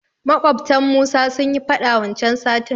Maƙwabtan Musa sunyi faɗa wancan satin.